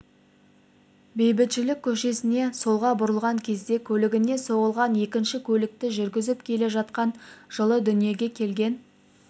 бейбітшілік көшесіне солға бұрылған кезде көлігіне соғылған екінші көлікті жүргізіп келе жатқан жылы дүниеге келген